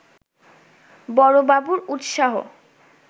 বড়বাবুর উৎসাহ